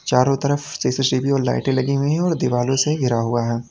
चारों तरफ सी_सी_टी_वी और लाइटें लगी हुई है और दीवालों से घिरा हुआ है।